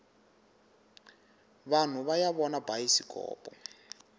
vanhu vaya vona bayisikopo